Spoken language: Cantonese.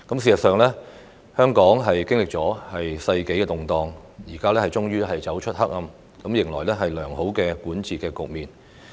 其間，香港經歷了世紀動盪，現在終於走出黑暗，迎來良好的管治局面。